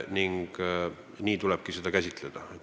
Nii tulebki seda käsitleda.